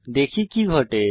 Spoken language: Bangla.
দেখি কি ঘটে